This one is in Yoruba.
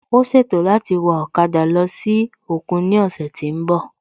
Ó ṣètò láti wa ọ̀kada lọ sí òkun ní òsè tí n bò